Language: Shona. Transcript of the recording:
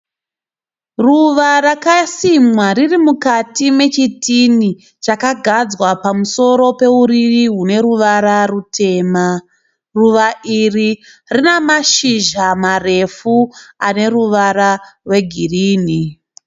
Ruva rakasimwa riri mukati mechitini chakagadzwa pamusoro peuriri hune ruvara rutema. Ruva iri rina mashizha marefu ane ruvara rwegirinhi.